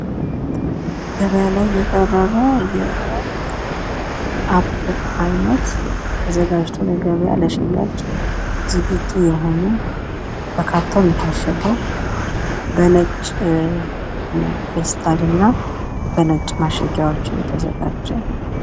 ገባያ ላይ የቀረበ የአፕል አይነት ተዘጋጅቶ ለገበያ ሽያጭ ዝግጁ የሆነ በካርቶን የታሸገ በነጭ ፌስታል እና በነጭ ማሸጊያዎች የተዘጋጀ።